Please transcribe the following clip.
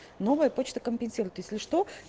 новая почта компенсирует если что